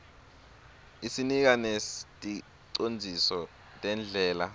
isinika neticondziso tendlela